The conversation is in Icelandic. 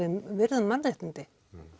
virða mannréttindi